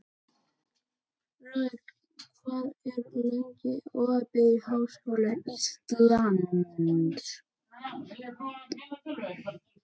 Rögn, hvað er lengi opið í Háskóla Íslands?